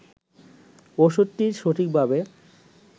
ওষুধটি সঠিকভাবে